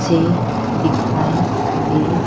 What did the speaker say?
से दिखाई दे--